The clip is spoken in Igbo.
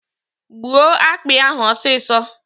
Gbuo akpị ahụ ọsịsọ!